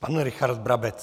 Pan Richard Brabec.